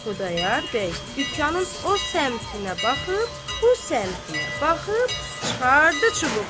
Xudayar bəy dükanın o səmtinə baxıb, bu səmtinə baxıb, çıxardı çubuğunu.